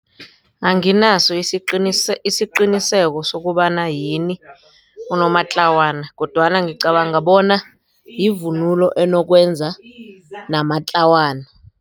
Anginaso isiqiniseko sokobana yini unomatlawana kodwana ngicabanga bona yivunulo enokwenza namatlawana.